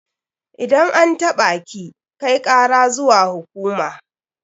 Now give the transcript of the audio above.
Idan an taɓa ki, kai kara zuwa hukuma.